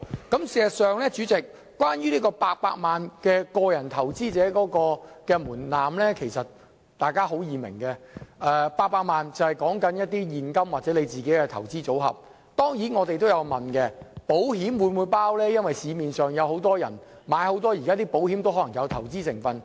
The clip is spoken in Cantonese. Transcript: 代理主席，事實上，關於個人投資者800萬元的門檻，大家很容易明白，是指現金或個人投資組合，當然我們也有疑問，保險是否計算在內，因為市面上有很多保險單也有投資成分。